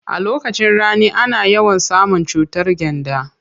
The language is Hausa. A lokacin rani ana yawan samun cutar gyanda.